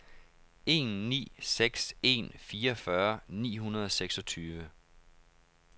en ni seks en fireogfyrre ni hundrede og seksogtyve